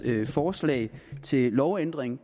forslag til lovændring